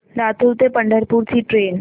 लातूर ते पंढरपूर ची ट्रेन